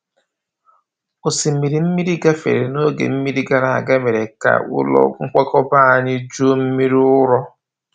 Osimiri mmiri gafere n’oge mmiri gara aga, mee ka ụlọ nkwakọba anyị juo mmiri ụrọ.